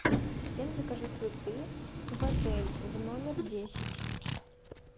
ассистент закажи цветы в отель в номер десять